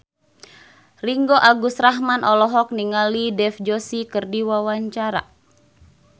Ringgo Agus Rahman olohok ningali Dev Joshi keur diwawancara